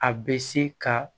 A bɛ se ka